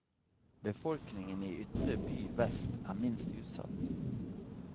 Befolkningen i ytre by vest er minst utsatt.